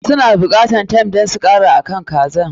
Su na buƙatan thyme don su kara akan kazan.